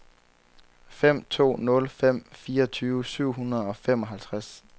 fem to nul fem fireogtyve syv hundrede og femoghalvtreds